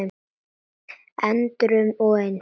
endrum og eins.